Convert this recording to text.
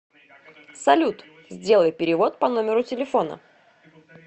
салют сделай перевод по номеру телефона